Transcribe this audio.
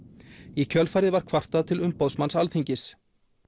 í kjölfarið var kvartað til umboðsmanns Alþingis